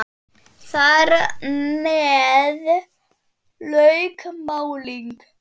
Þar með lauk málinu.